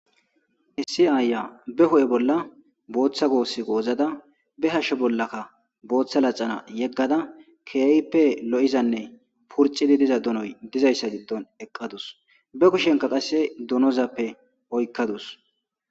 Issi ayiya ba hua bola botha gosa gosara be hashe bolaka botha laxana yegada kehippe loiza purchizi diza donoya dizayisa gidon eqadusi ba kushianika qase donozappe oyikadus.